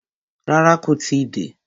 Rárá, kó tí ì dé.